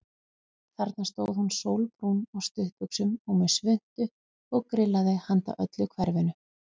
Þarna stóð hún sólbrún á stuttbuxum og með svuntu og grillaði handa öllu hverfinu.